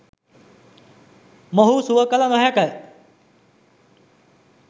මොවුහු සුව කළ නොහැකි